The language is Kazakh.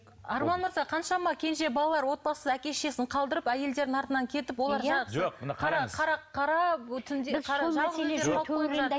арман мырза қаншама кенже балалар отбасы әке шешесін қалдырып әйелдерінің артынан кетіп олар